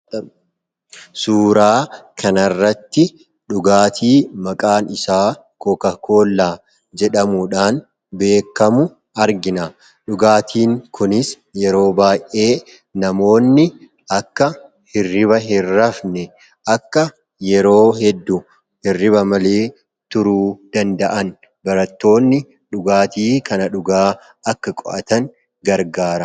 Suuraa kana irratti dhugaatii maqaansaa kookaa kollaa jedhamuudhaan beekamu argina. Dhugaatiin kunis yeroo baayyee namoonni akka hirriba hin rafne, akka yeroo hedduu hirriba malee turuu danda'an, barattoonni dhugaatii kana dhugaa qo'atan gargaara.